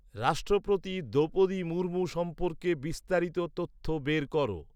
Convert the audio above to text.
রাষ্ট্রপতি দ্রৌপদী মুর্মু সম্পর্কে বিস্তারিত তথ্য বের কর